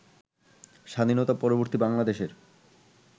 স্বাধীনতা-পরবর্তী বাংলাদেশের